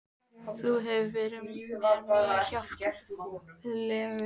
Þú hefur verið mér mjög hjálplegur